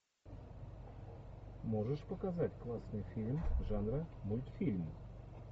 можешь показать классный фильм жанра мультфильм